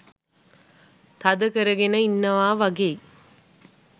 තද කරගෙන ඉන්නවා වගෙයි.